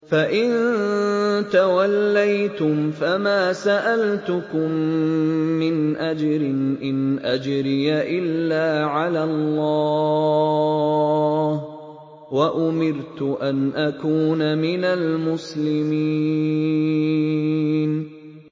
فَإِن تَوَلَّيْتُمْ فَمَا سَأَلْتُكُم مِّنْ أَجْرٍ ۖ إِنْ أَجْرِيَ إِلَّا عَلَى اللَّهِ ۖ وَأُمِرْتُ أَنْ أَكُونَ مِنَ الْمُسْلِمِينَ